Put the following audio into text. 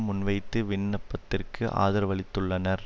முன்வைத்து விண்ணப்பத்திற்கு ஆதரவளித்துள்ளனர்